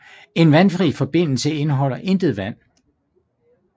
En vandfri forbindelse indholder intet vand